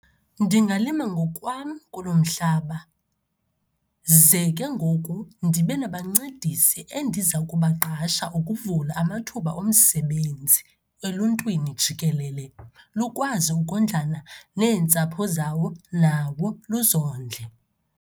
Ndingawulima ngokwam kulo mhlaba, ze ke ngoku ndibe nabancedisi endiza kubaqasha ukuvula amathuba omsebenzi eluntwini jikelele, lukwazi ukondlana neentsapho zawo nawo luzondle.